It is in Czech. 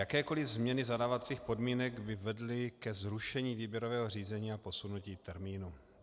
Jakékoli změny zadávacích podmínek by vedly ke zrušení výběrového řízení a posunutí termínu.